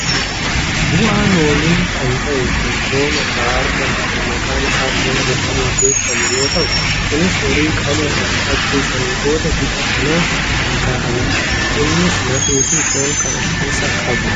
bu'aa loonii kan ta'e kan loon irraa argamu kan maqaan isaa foon jedhamuun beekkamu yoo ta'u kunis horii qaluun erga ajjeessanii bood bifa kanaan kan kaa'anidha. innis lafeefi foon kan of keessaa qabudha.